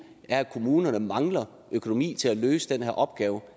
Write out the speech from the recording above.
er at kommunerne mangler økonomi til at løse den her opgave